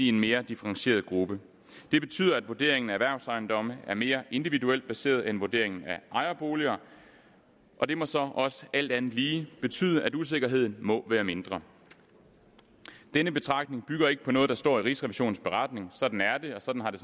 en mere differentieret gruppe det betyder at vurderingen af erhvervsejendomme er mere individuelt baseret end vurderingen af ejerboliger og det må så også alt andet lige betyde at usikkerheden må være mindre denne betragtning bygger ikke på noget der står i rigsrevisionens beretning sådan er det og sådan har det